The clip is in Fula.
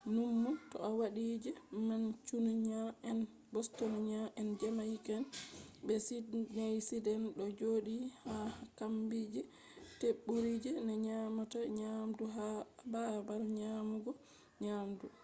nummu to a wadi je mancunia'en bostonia'en jamaica'en be sydneysider do jodi ha kombi je teburi je be nyamata nyamdu hado ha babal nyamugo nyamdu